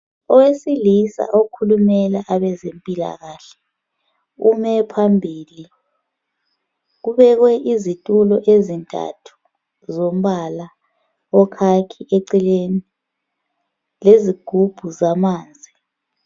Owesilisa okhulumela abezempilakahle ume phambili. Kubekwe izitulo ezintathu zombala okhakhi eceleni lezigubhu zamanzi.